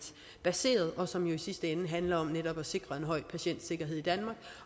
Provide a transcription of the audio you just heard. baseret og som jo i sidste ende handler om netop at sikre en høj patientsikkerhed i danmark